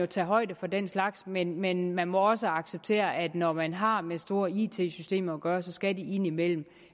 tage højde for den slags men men man må også acceptere at når man har med store it systemer at gøre skal de indimellem